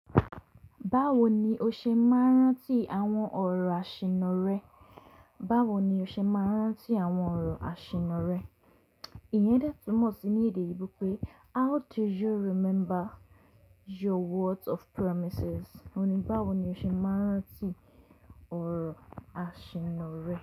Báwo ni o ṣe máa ń rántí àwọn ọ̀rọ̀ àṣìnnù rẹ? Báwo ni o ṣe máa ń rántí àwọn ọ̀rọ̀ àṣìnnù rẹ? Ìyẹn detúmọ̀ sí ní èdè oyinbo pé how do you remember your words of promises? Òun ni báwo ni o ṣe máa ń rántí ọ̀rọ̀ àṣìnnù rẹ.